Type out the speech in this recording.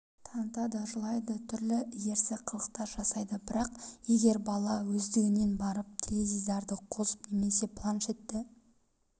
танытады жылайды түрлі ерсі қылықтар жасайды бірақ егер бала өздігінен барып теледидарды қосып немесе планшетті